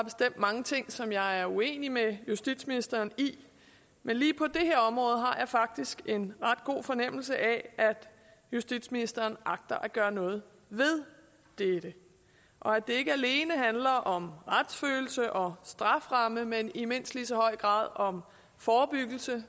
mange ting som jeg er uenig med justitsministeren i men lige på det her område har jeg faktisk en ret god fornemmelse af at justitsministeren agter at gøre noget ved det og at det ikke alene handler om retsfølelse og strafferamme men i mindst lige så høj grad om forebyggelse